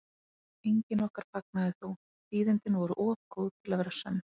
Enginn okkar fagnaði þó, tíðindin voru of góð til að vera sönn.